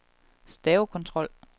stavekontrol